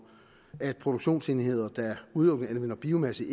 produktionsenheder der udelukkende anvender biomasse